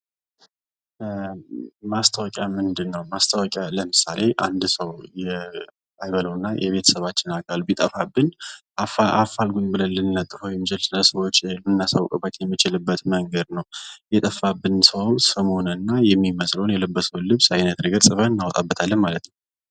ማስታወቂያ ምንድነው ለምሳሌ አንድ ሰው አይበለውና የቤተሰባችን አካል ቢጠፋብን አፋልጉኝ ብለን ልንደጥፈው የምንችል ለሰዎች ልናሳውቅበት የምንችለው መንገድ ነው የጠፋብንን ሰው የሚመስለውን የለበሰውን አይነት ግልፀን እናወጣበታለን ማለት ነው።